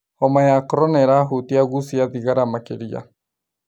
homa ya korona ĩrahutia agucia thigara makĩria